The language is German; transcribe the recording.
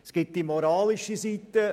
Es gibt die moralische Seite.